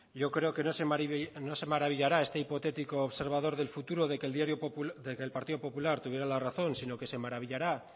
yo creo que no se maravillará este hipotético observador del futuro de que el partido popular tuviera la razón sino que se maravillará